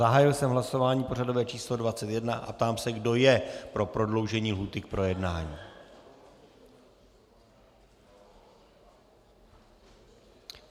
Zahájil jsem hlasování pořadové číslo 21 a ptám se, kdo je pro prodloužení lhůty k projednání.